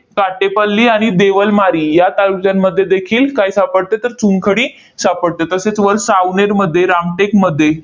साचेपल्ली आणि देवलमारी या तालुक्यांमध्ये देखील काय सापडते? तर चुनखडी सापडते. तसेच वर सावनेरमध्ये, रामटेकमध्ये.